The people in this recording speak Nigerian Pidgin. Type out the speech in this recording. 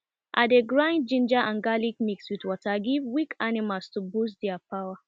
i dey grind ginger and garlic mix with water give weak animal to boost their power